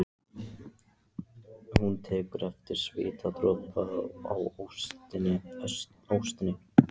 Hún tekur eftir svitadropa í óstinni.